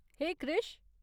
हे कृष !